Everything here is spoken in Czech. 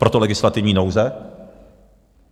Proto legislativní nouze.